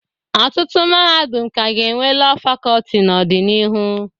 Ọtụtụ mahadum ka ga-enwe Lọọ Fakọlti n'ọdịnihu.